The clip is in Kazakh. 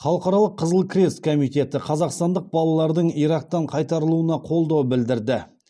халықаралық қызыл крест комитеті қазақстандық балалардың ирактан қайтарылуына қолдау білдірді